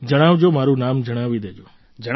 જણાવજો મારું નામ જણાવી દેજો